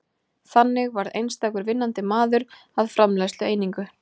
þannig varð einstakur vinnandi maður að framleiðslueiningu